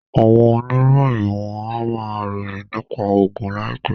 Àwọn oníròyìn wọ́n á ma ròyìn nípa ogun láìpẹ́